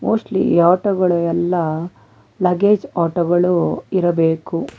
Mostly ಈ ಆಟಗಳು ಎಲ್ಲಾ ಲಗೇಜ್ ಆಟೋಗಳು ಇರಬೇಕು.